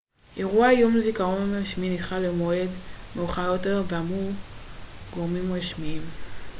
אירוע יום זיכרון רשמי נדחה למועד מאוחר יותר אמרו גורמים רשמיים